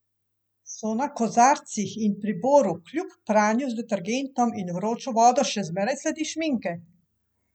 So na kozarcih in priboru kljub pranju z detergentom in vročo vodo še zmeraj sledi šminke?